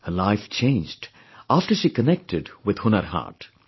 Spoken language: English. Her life changed after she connected with Hunar Haat